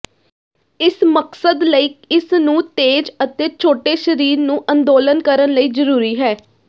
ਇਸ ਮਕਸਦ ਲਈ ਇਸ ਨੂੰ ਤੇਜ਼ ਅਤੇ ਛੋਟੇ ਸਰੀਰ ਨੂੰ ਅੰਦੋਲਨ ਕਰਨ ਲਈ ਜ਼ਰੂਰੀ ਹੈ